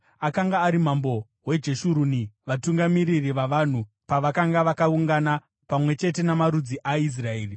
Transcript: Akanga ari mambo weJeshuruni vatungamiriri vavanhu pavakanga vakaungana, pamwe chete namarudzi aIsraeri.